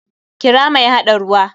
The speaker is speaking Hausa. Kira mai haɗa ruwa!